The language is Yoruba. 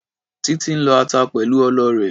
Títí ń lọ ata pẹ̀lú ọlọ rẹ̀.